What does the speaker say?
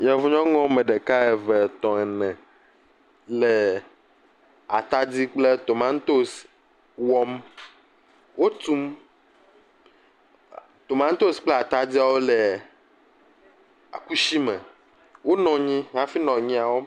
Yevu nyɔnu wo ame ɖeka, eve, etɔ̃, ene le atadi kple tomatosi wɔm. Wotum, e tomatosi kple atadiawo le kusi me. Wonɔ anyi hafi nɔ nu ya wɔm.